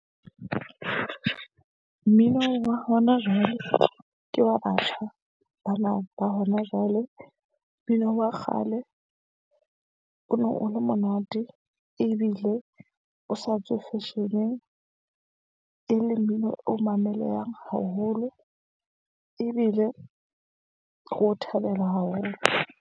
Mmino wa hona jwale ke wa batjha bana ba hona jwale. Mmino wa kgale o ne o le monate ebile o sa tswe fashion-eng. E le mmino o mamelehang haholo, ebile re o thabela haholo.